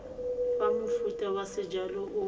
fa mofuta wa sejalo o